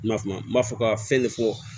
Ma kuma n m'a fɔ ka fɛn ne fɔ